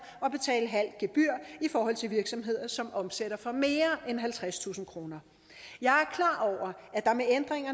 og betale halvt gebyr i forhold til virksomheder som omsætter for mere end halvtredstusind kroner jeg